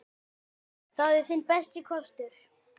Það er þinn besti kostur.